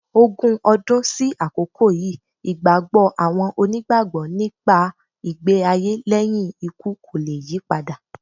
Ogun ọdún sí àkókò yìí, ìgbàgbọ́ àwọn Onígbàgbọ́ nípa ìgbé-ayé lẹ́yìn ikú kò le yípadà.